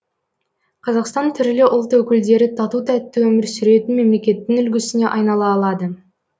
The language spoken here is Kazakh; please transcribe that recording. қазақстан түрлі ұлт өкілдері тату тәтті өмір сүретін мемлекеттің үлгісіне айнала алады